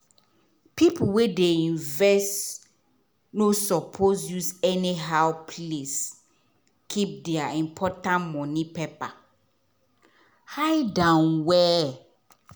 people wey dey invest no suppose use anyhow place keep their important money paper. hide am well.